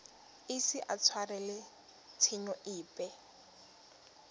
ise a tshwarelwe tshenyo epe